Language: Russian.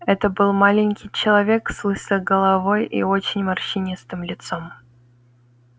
это был маленький человек с лысой головой и очень морщинистым лицом